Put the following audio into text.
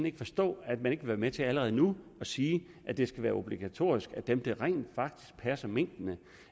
ikke forstå at man ikke vil være med til allerede nu at sige at det skal være obligatorisk at dem der rent faktisk passer minkene